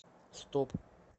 стоп